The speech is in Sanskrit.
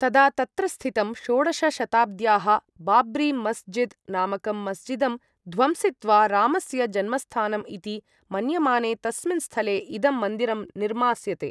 तदा तत्र स्थितं, षोडश शताब्द्याः बाब्री मस्जिद् नामकं मस्जिदं ध्वंसित्वा रामस्य जन्मस्थानम् इति मन्यमाने तस्मिन् स्थले इदं मन्दिरं निर्मास्यते।